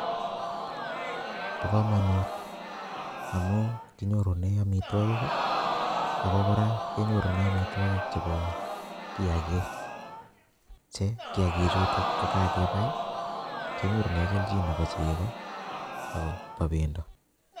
Bo kamanut amu kinyorune amitwogik ako kora kenyorune amitwogik chebo kiyakik che kiyakik chutok kokakebai kenyorune keljin nebo chego ak bendo.